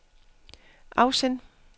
afsend